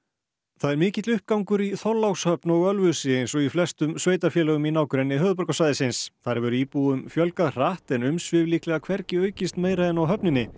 það er mikill uppgangur í Þorlákshöfn og Ölfusi eins og í flestum sveitarfélögum í nágrenni höfuðborgarsvæðisins þar hefur íbúum fjölgað hratt en umsvif líklega hvergi aukist meira en á höfninni